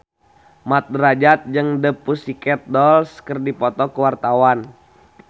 Mat Drajat jeung The Pussycat Dolls keur dipoto ku wartawan